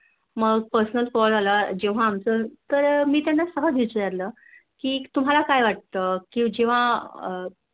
मग Personal call आला जेव्हा आमचं मी त्याना सहज विचारलं कि तुहला काय वाटत